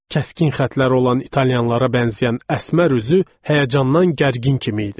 Kəskin xəttlər olan italyanlara bənzəyən əsmər üzü həyəcandan gərgin kimi idi.